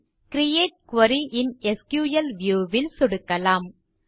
bin create query in SQL view ல் சொடுக்கலாம்